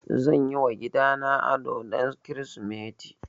Zan yi wa gidana ado don Kirsimeti